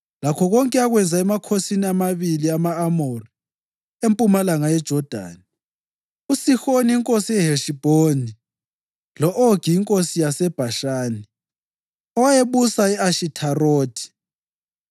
lakho konke akwenza emakhosini amabili ama-Amori empumalanga yeJodani, uSihoni inkosi yeHeshibhoni lo-Ogi inkosi yaseBhashani owayebusa e-Ashitharothi.